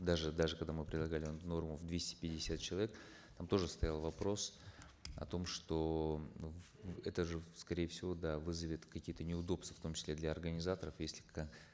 даже даже когда мы предлагали норму в двести пятьдесят человек там тоже стоял вопрос о том что это же скорее всего да вызовет какие то неудобства в том числе для организаторов если